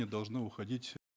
не должны уходить